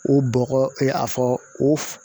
O bɔgɔ a fɔ o f